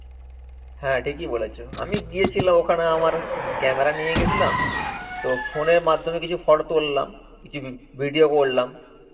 হ্যাঁ, ঠিকই বলেছো আমি গিয়েছিলাম ওখানে আমার এক camera নিয়ে গেছিলাম. তো, phone এর মাধ্যমে কিছু photo তুললাম. কিছু ভি~ video করলাম.